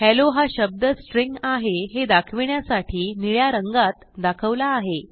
hello हा शब्द string आहे हे दाखवण्यासाठी निळ्या रंगात दाखवला आहे